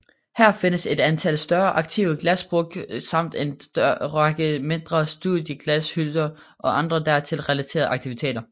Her findes et antal større aktive glasbruk samt en række mindre studioglashytter og andre dertil relaterede aktiviteter